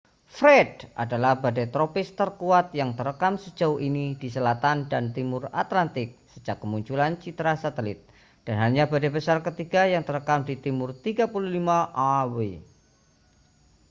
fred adalah badai tropis terkuat yang terekam sejauh ini di selatan dan timur atlantik sejak kemunculan citra satelit dan hanya badai besar ketiga yang terekam di timur 35â°w